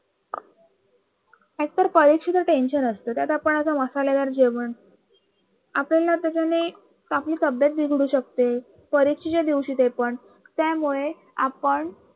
एकतर परीक्षेचं Tention असत त्यात आपण असं मसालेदार जेवण आपल्याला त्याच्याने आपली तर तब्येत बिघडू शकते परीक्षेच्या दिवशी ते पण त्यामुळे आपण